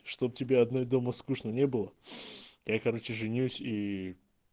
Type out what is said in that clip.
чтоб тебе одной дома скучно не было я короче женюсь и